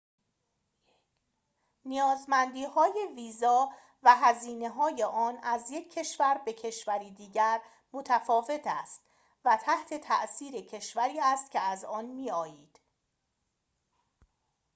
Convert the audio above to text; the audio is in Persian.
نیازمندیهای ویزا و هزینه‌های آن از یک کشور به کشوری دیگر متفاوت است و تحت تأثیر کشوری است که از آن می‌آیید